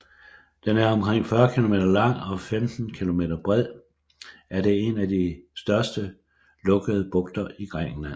Den er omkring 40 km lang og 15 km bred er det en af de største lukkede bugter i Grækenland